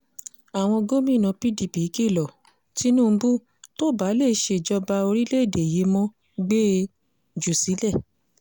àwọn gómìnà pdp kìlọ̀ tinubu tó o bá lè ṣèjọba orílẹ̀‐èdè yìí mo gbé e jù sílẹ̀